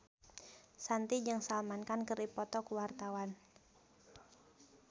Shanti jeung Salman Khan keur dipoto ku wartawan